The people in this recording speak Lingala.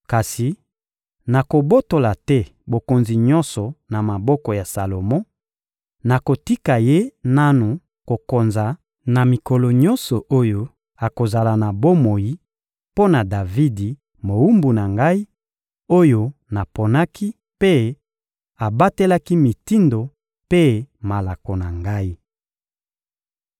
Kasi nakobotola te bokonzi nyonso na maboko ya Salomo, nakotika ye nanu kokonza na mikolo nyonso oyo akozala na bomoi, mpo na Davidi, mowumbu na Ngai, oyo naponaki mpe abatelaki mitindo mpe malako na Ngai.